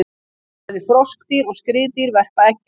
Bæði froskdýr og skriðdýr verpa eggjum.